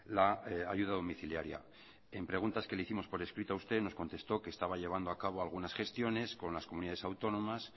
la ayuda domiciliaria en preguntas que le hicimos por escrito a usted nos contestó que estaba llevando a cabo algunas gestiones con las comunidades autónomas